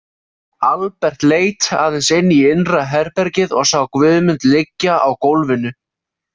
Albert leit aðeins inn í innra herbergið og sá Guðmund liggja á gólfinu.